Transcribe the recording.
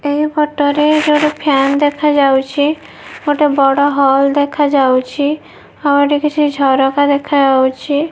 ଏହି ଫଟୋ ରେ ଏଠି ଗୋଟେ ଫ୍ୟାନ ଦେଖାଯାଉଛି ଗୋଟେ ବଡ଼ ହଲ ଦେଖାଯାଉଛି ଆଉ ଏଠି କିଛି ଝରକା ଦେଖାଯାଉଛି।